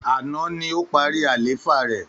Àná ni ó parí àlééfà rẹ̀.